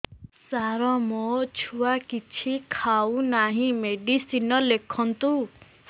ସାର ମୋ ଛୁଆ କିଛି ଖାଉ ନାହିଁ ମେଡିସିନ ଲେଖନ୍ତୁ